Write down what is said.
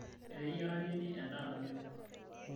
eteyiare nini endaa namelok